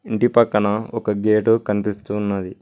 ఇంటి పక్కన ఒక గేటు కనిపిస్తూ ఉన్నది.